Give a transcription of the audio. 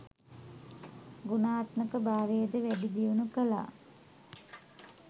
ගුණාත්මක භාවයද වැඩි දියුණු කළා.